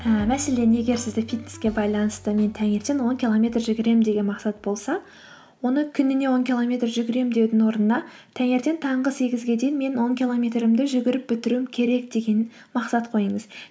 ііі мәселен егер сізде фитнеске байланысты мен таңертең он километр жүгіремін деген мақсат болса оны күніне он километр жүгіремін деудің орнына таңертең таңғы сегізге дейін мен он километрімді жүгіріп бітіруім керек деген мақсат қойыңыз